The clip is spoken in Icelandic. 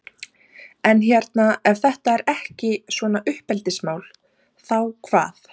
En hérna ef þetta er ekki svona uppeldismál, þá hvað?